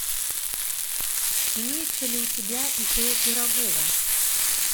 имеется ли у тебя ип пирогова